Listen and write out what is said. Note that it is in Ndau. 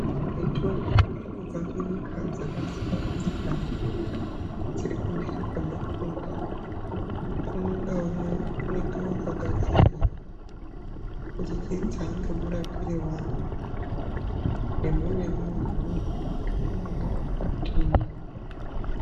Mitombo inobva kunyika dzaksiyanasiyana dziri kumhiri kwemakungwa umwe naumwe unenge wakagadzirwa kubudikidza ngemurapire wawo nemuremu hwemunhu nekuti unomwa wakadini.